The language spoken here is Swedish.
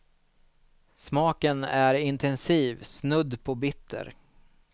Smaken är intensiv, snudd på bitter.